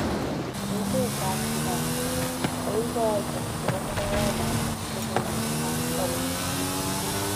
Emet ab Uganda: Koigooito chebo mugaawanoton logoiwek ab oliikchig'.